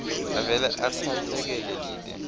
avele atsatsekele lite